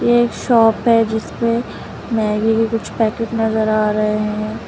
एक शॉप है जिसमें मैगी के कुछ पैकेट नजर आ रहे हैं।